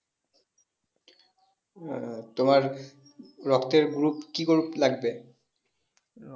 আহ তোমার রক্তের group কি group লাগবে